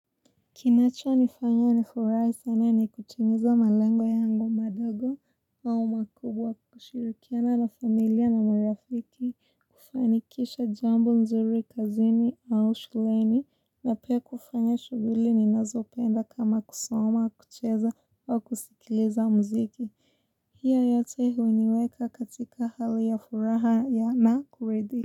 Kinacho nifanya nifurahi sana ni kutimiza malengo yangu madogo au makubwa kushirikiana na familia na marafiki, kufanikisha jambo nzuri kazini au shuleni, na pia kufanya shughuli ninazopenda kama kusoma, kucheza au kusikiliza muziki. Hiyo yote huniweka katika hali ya furaha ya na kuridhika.